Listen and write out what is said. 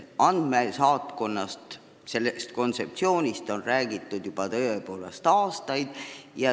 Andmesaatkonna kontseptsioonist on räägitud juba tõepoolest aastaid.